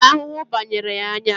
Ahụhụ banyere ya anya